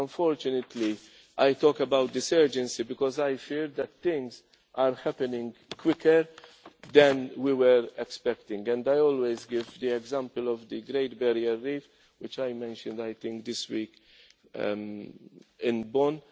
urgency. Unfortunately, I talk about this urgency because I fear that things are happening quicker than we were expecting, and I always give the example of the Great Barrier Reef which I mentioned this week